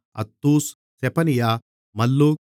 அத்தூஸ் செபனியா மல்லூக்